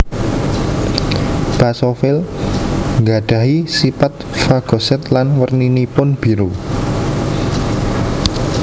Basofil nggadhahi sipat fagosit lan werninipun biru